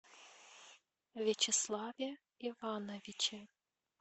вячеславе ивановиче